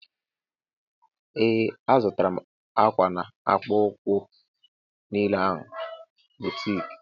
Ee azutara m akwa na akpụkpọ ukwu niile ahụ n' boutiki.